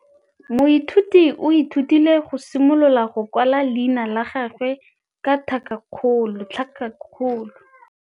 Moithuti o ithutile go simolola go kwala leina la gagwe ka tlhakakgolo.